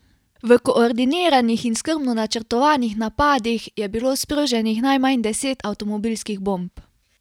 V koordiniranih in skrbno načrtovanih napadih je bilo sproženih najmanj deset avtomobilskih bomb.